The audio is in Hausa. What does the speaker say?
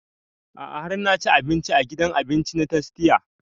A'a har na ci abinci a gidan cin abinci na tastia